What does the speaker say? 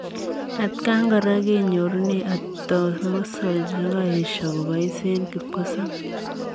Atakaan koraa kenyorunee atomosol chekaesio kopais eng kipkosobei.